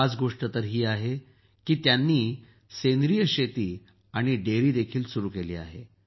खास गोष्ट तर ही आहे की यांनी सेंद्रिय शेती आणि डेअरीही सुरू केली आहे